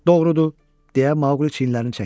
Doğrudur, deyə Maqli çiynlərini çəkdi.